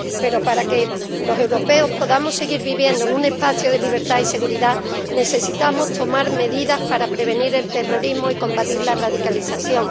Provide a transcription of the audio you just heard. Pero para que los europeos podamos seguir viviendo en un espacio de libertad y seguridad, necesitamos tomar medidas para prevenir el terrorismo y combatir la radicalización.